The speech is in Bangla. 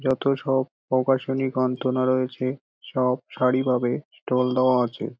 যত সব প্রকাশনী গন্তনা রয়েছে সব সারিভাবে ষ্টল দেওয়া আছে।